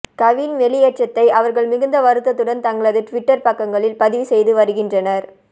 கவின் வெளியேற்றத்தை அவர்கள் மிகுந்த வருத்தத்துடன் தங்களது டுவிட்டர் பக்கங்களில் பதிவு செய்து வருகின்றனர்